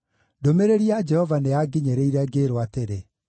Ndũmĩrĩri ya Jehova nĩyanginyĩrire, ngĩĩrwo atĩrĩ,